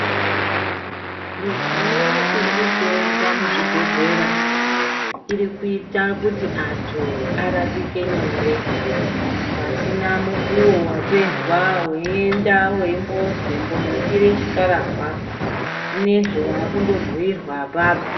Midziyo iri ekusenza muzvibhedhlera iri kuita kuti antu arapike nyore pasina mukuwo wapedzwa weyienda wembozi imbonopfira chikarahwa zvineizvi wavakundo bhuyirwa apapo.